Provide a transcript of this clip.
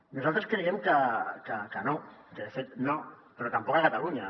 nosaltres creiem que no que de fet no però tampoc a catalunya